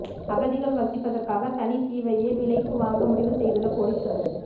அகதிகள் வசிப்பதற்காக தனி தீவையே விலைக்கு வாங்க முடிவு செய்துள்ள கோடிஸ்வரர்